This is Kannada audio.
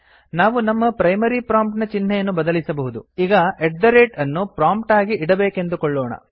ನಾವು ನಮ್ಮ ಪ್ರೈಮರಿ ಪ್ರೊಮ್ಪ್ಟ್ ನ ಚಿಹ್ನೆಯನ್ನು ಬದಲಿಸಬಹುದು ಈಗ ಅಟ್ ಥೆ ರೇಟ್ ltgt ಅನ್ನು ಪ್ರೊಮ್ಪ್ಟ್ ಆಗಿ ಇಡಬೇಕೆಂದುಕೊಳ್ಳೋಣ